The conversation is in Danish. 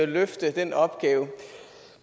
løfte den opgave